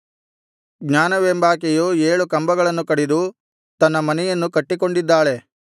ಜ್ಞಾನವೆಂಬಾಕೆಯು ಏಳು ಕಂಬಗಳನ್ನು ಕಡಿದು ತನ್ನ ಮನೆಯನ್ನು ಕಟ್ಟಿಕೊಂಡಿದ್ದಾಳೆ